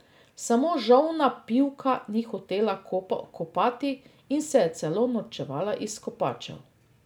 Samo žolna pivka ni hotela kopati in se je celo norčevala iz kopačev.